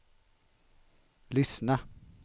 lyssna